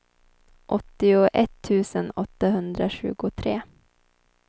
åttioett tusen åttahundratjugotre